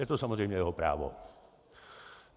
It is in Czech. Je to samozřejmě jeho právo.